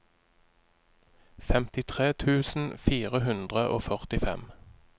femtitre tusen fire hundre og førtifem